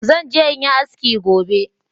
Zan je in yi haski gobe